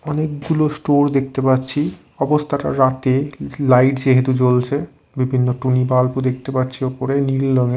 অনেকগুলো স্টোর দেখতে পাচ্ছি অবস্থাটা রাতে লাইট যেহেতু জ্বলছে বিভিন্ন টুনি বাল্বও দেখতে পাচ্ছি ওপরে নীল রঙে--